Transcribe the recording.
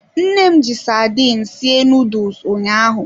Nne m ji sardine sie nuduls ụnyaahụ.